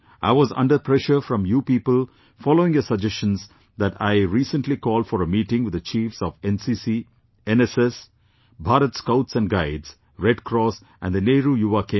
It was under pressure from you people, following your suggestions, that I recently called for a meeting with the chiefs of NCC, NSS, Bharat Scouts and Guides, Red Cross and the Nehru Yuva Kendra